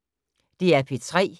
DR P3